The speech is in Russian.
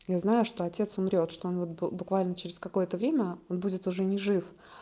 я знаю что отец умрёт что он вот буквально через какое-то время будет уже не жив